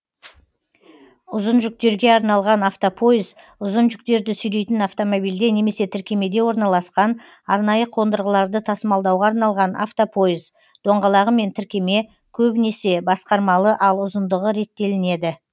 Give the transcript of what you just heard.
ұзын жүктерге арналған автопойыз ұзын жүктерді сүйрейтін автомобильде немесе тіркемеде орналасқан арнайы қондырғыларды тасымалдауға арналған автопойыз доңғалағы мен тіркеме көбінесе басқармалы ал ұзындығы реттелінеді